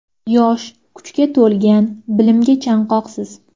Yosh, kuchga to‘lgan, bilimga chanqoqsiz.